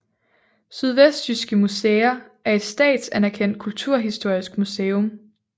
Sydvestjyske Museer er et statsanerkendt kulturhistorisk museum